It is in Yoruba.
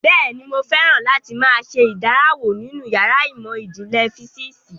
Bẹ́ẹ̀ni, mo fẹ́ràn láti máa ṣe ìdánrawò nínú yàrá ìmọ̀ ìjìnlẹ̀ físíìsì